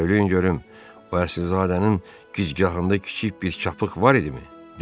Söyləyin görüm, o Əsilzadənin gicgahında kiçik bir çapıq var idimi?